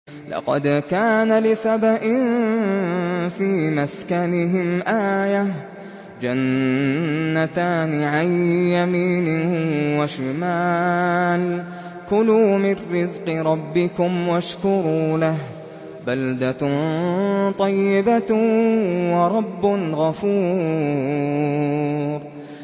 لَقَدْ كَانَ لِسَبَإٍ فِي مَسْكَنِهِمْ آيَةٌ ۖ جَنَّتَانِ عَن يَمِينٍ وَشِمَالٍ ۖ كُلُوا مِن رِّزْقِ رَبِّكُمْ وَاشْكُرُوا لَهُ ۚ بَلْدَةٌ طَيِّبَةٌ وَرَبٌّ غَفُورٌ